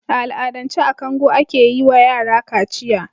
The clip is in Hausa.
A al'adance a kango ake yi wayara kaciya.